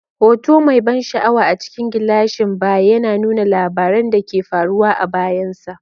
Hoto mai ban sha'awa a cikin gilashin baya yana nuna labaran da ke faruwa a bayansa.